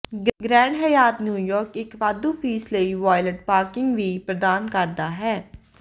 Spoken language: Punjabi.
ਗ੍ਰੈਂਡ ਹਯਾਤ ਨਿਊਯਾਰਕ ਇਕ ਵਾਧੂ ਫੀਸ ਲਈ ਵਾਇਲਟ ਪਾਰਕਿੰਗ ਵੀ ਪ੍ਰਦਾਨ ਕਰਦਾ ਹੈ